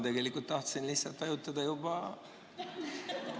Tegelikult tahtsin lihtsalt ettepaneku poolt hääletada.